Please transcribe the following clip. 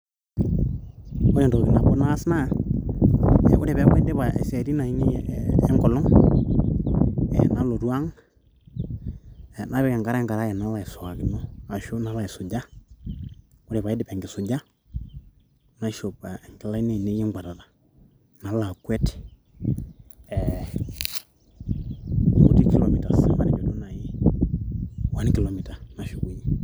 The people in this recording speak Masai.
Ore entoki nabo naas naa ore peaku aidipa isiaitin aine enkolong, nalotu ang. Napik enkare enkarae nalo aisuankino, ashu nalo aisuja. Ore pee aidip enkisuja, naishop inkilani ainei ekweuatata nalo akwet ee one kilomitas nashukunye.